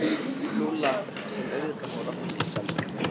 Lúlla sem auðvitað fór að flissa líka.